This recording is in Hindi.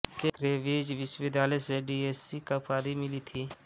में केंब्रिज विश्वविद्यालय से डी एससी की उपाधि मिली थी